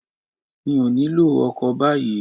Mi ò nílò ọkọ̀ báyìí